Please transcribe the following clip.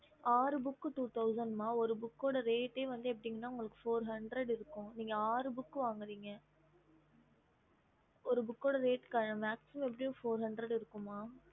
ம் yes mam